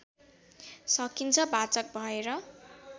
सकिन्छ वाचक भएर